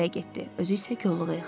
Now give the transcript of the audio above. Özü isə kolluğa yıxıldı.